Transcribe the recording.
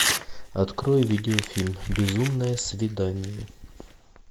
открой видеофильм безумное свидание